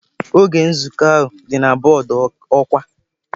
Oge nzukọ ahụ dị na bọọdụ ọkwa.